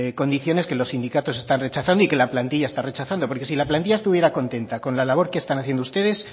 condiciones que los sindicatos están rechazando y que la plantilla está rechazando porque si la plantilla estuviera contenta con la labor que están haciendo ustedes